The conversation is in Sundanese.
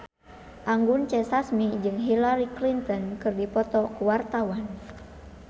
Anggun C. Sasmi jeung Hillary Clinton keur dipoto ku wartawan